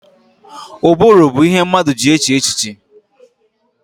Ụbụrụ bụ ihe mmadụ ji eche echiche